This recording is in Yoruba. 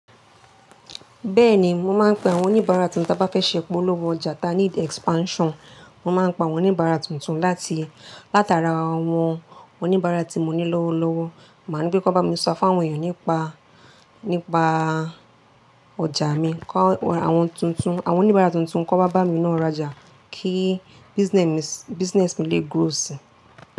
Bẹ́ẹ̀ni, mo máa ń pe àwọn oníbàárà tí mo bá fẹ́ ṣe ìpolówó ọjà ta ní expansion. Mo máa ń pé àwọn oníbàárà tuntun láti látara àwọn oníbàárà tí mo ní lọ́wọ́lọ́wọ́. Màá ńi pé kí wọ́n bá mi sọ fáwọn èèyàn nípa, nípa ọjà mi. Kọ́ àwọn tuntun, àwọn oníbàárà tuntun kan wa bá mi ná rajà kí business mi lè grow si.